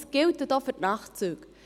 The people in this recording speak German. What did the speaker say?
Das gilt auch für die Nachtzüge.